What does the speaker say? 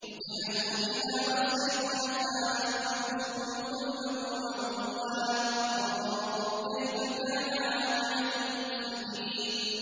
وَجَحَدُوا بِهَا وَاسْتَيْقَنَتْهَا أَنفُسُهُمْ ظُلْمًا وَعُلُوًّا ۚ فَانظُرْ كَيْفَ كَانَ عَاقِبَةُ الْمُفْسِدِينَ